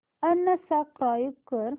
unsubscribe कर